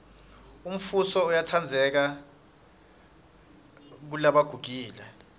umfuso uyatsandzeka kelebagugile